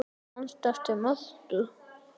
Manstu eftir Mörtu?